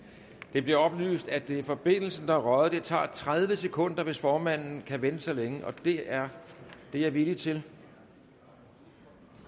det bliver oplyst at det er forbindelsen der er røget det tager tredive sekunder hvis formanden kan vente så længe og det er jeg villig til